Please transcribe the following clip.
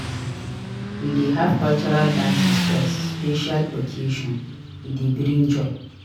We dey have cultural dances for special occasions e dey bring joy.